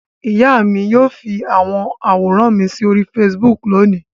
Ìyá mi yóò fi àwọn àwòrán mi sí orí Facebook lónìí.